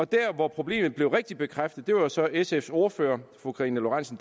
der hvor problemet blev rigtig bekræftet var jo så i sfs ordfører fru karina lorentzen